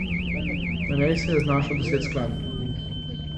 Na njej se je znašlo deset skladb.